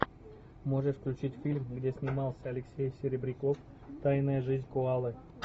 можешь включить фильм где снимался алексей серебряков тайная жизнь коалы